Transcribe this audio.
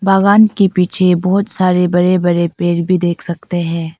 बागान के पीछे बहुत सारे बड़े बड़े पेड़ भी देख सकते हैं।